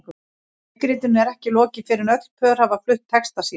Leikritinu er ekki lokið fyrr en öll pör hafa flutt texta sína.